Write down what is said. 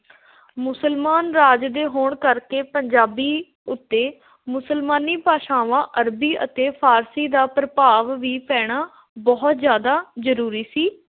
ਮੁਸਲਮਾਨ ਰਾਜ ਦੇ ਹੋਣ ਕਰਕੇ ਪੰਜਾਬੀ ਉੱਤੇ ਮੁਸਲਮਾਨੀ ਭਾਸ਼ਾਵਾਂ ਅਰਬੀ ਅਤੇ ਫ਼ਾਰਸ਼ੀ ਦਾ ਪ੍ਰਭਾਵ ਵੀ ਪੈਣਾ ਬਹੁਤ ਜ਼ਿਅਦਾ ਜ਼ਰੂਰੀ ਸੀ।